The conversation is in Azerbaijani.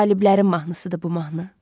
Qaliblərin mahnısıdır bu mahnı.